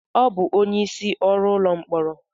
Ọ bụ onye isí ọrụ ụlọ mkpọrọ?